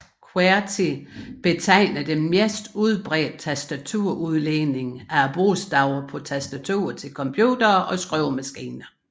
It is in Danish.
QWERTY betegner det mest udbredte tastaturudlægning af bogstaverne på tastaturer til computere og skrivemaskiner